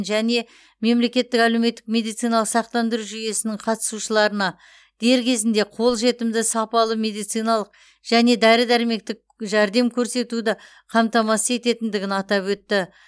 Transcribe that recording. және мемлекеттік әлеуметтік медициналық сақтандыру жүйесінің қатысушыларына дер кезінде қолжетімді сапалы медициналық және дәрі дәрмектік жәрдем көрсетуді қамтамасыз ететіндігін атап өтті